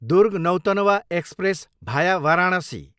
दुर्ग, Nautanwa express भाया वाराणसी